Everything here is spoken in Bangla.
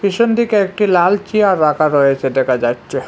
পিছন দিকে একটি লাল চেয়ার রাখা রয়েছে দেখা যাচ্ছে।